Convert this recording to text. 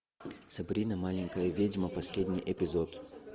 сабрина маленькая ведьма последний эпизод